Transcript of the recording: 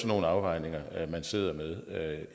nogle afvejninger man sidder med